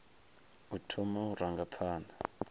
u thoma u ranga phanḓa